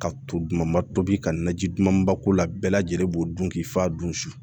Ka to dumanba tobi ka na ji dumanba k'u la bɛɛ lajɛlen b'o dun k'i fa dun su